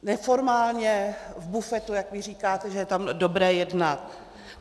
Neformálně v bufetu, jak vy říkáte, že je tam dobré jednat.